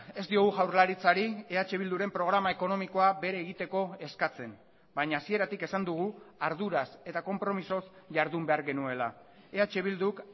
ez diogu jaurlaritzari eh bilduren programa ekonomikoa bere egiteko eskatzen baina hasieratik esan dugu arduraz eta konpromisoz jardun behar genuela eh bilduk